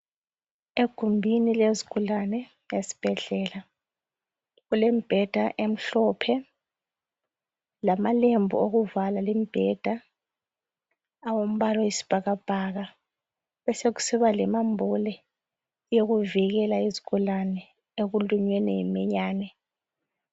Egumbini lezigulane esibhedlela kulembheda emhlophe lamalembu okuvala imbheda angumpala oyisibhakabhaka besekusiba lomambule yokuvikela izigulane ekulunyweni yiminyane.